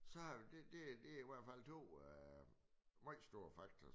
Så det det det i hvert fald 2 meget store faktorer